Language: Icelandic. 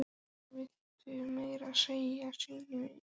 Og villtist meira að segja í sínu eigin túni.